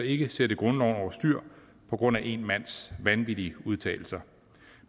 ikke sætte grundloven over styr på grund af én mands vanvittige udtalelser